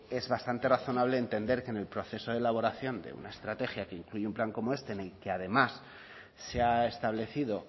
que es bastante razonable entender que en el proceso de elaboración de una estrategia que incluye un plan como este en el que además se ha establecido